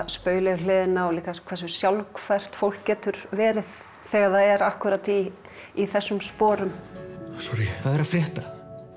spaugilegu hliðina á hversu sjálfhverft fólk getur verið þegar það er akkúrat í í þessum sporum sorrí hvað er að frétta